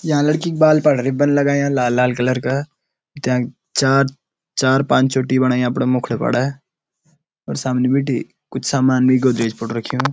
यां लड़की क बाल पर रिबन लगायाँ लाल लाल कलर का त्यांक चार चार पांच चोटी बणाई अपड़ा मुख्डू पड़ा और सामने बीटी कुछ सामान वेकु देज पुतक रखयूं।